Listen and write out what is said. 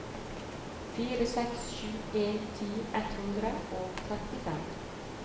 fire seks sju en ti ett hundre og trettifem